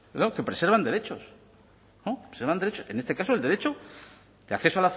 que preservan derechos en este caso el derecho de acceso